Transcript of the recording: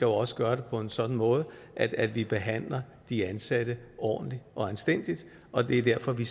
også gøre det på en sådan måde at vi behandler de ansatte ordentligt og anstændigt og det er derfor at vi